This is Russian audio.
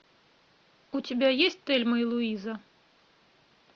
у тебя есть тельма и луиза